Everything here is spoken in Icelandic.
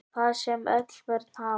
Það sem öll börn hafa